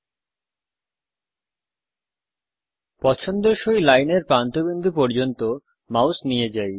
আসুন পছন্দসই লাইনের প্রান্ত বিন্দু পর্যন্ত মাউস নিয়ে যাই